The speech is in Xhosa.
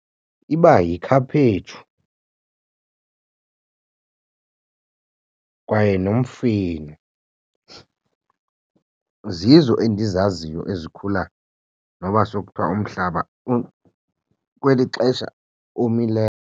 Iba yikhaphetshu kwaye nomfino zizo endizaziyo ezikhula noba sokuthiwa umhlaba kweli xesha omileyo.